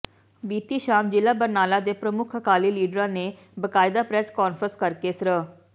ਬੀਤੀ ਸ਼ਾਮ ਜ਼ਿਲਾ ਬਰਨਾਲਾ ਦੇ ਪ੍ਰਮੁੱਖ ਅਕਾਲੀ ਲੀਡਰਾਂ ਨੇ ਬਕਾਇਦਾ ਪ੍ਰੈਸ ਕਾਨਫਰੰਸ ਕਰਕੇ ਸ੍ਰ